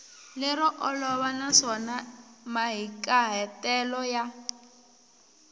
lero olova naswona mahikahatelo ya